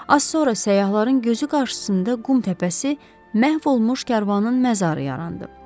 Az sonra səyyahların gözü qarşısında qum təpəsi məhv olmuş karvanın məzarı yarandı.